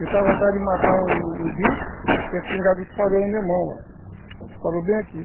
Eu estava atrás de matar um um bicho e a espingarda disparou na minha mão, ó. Disparou bem aqui.